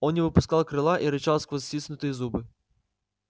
он не выпускал крыла и рычал сквозь стиснутые зубы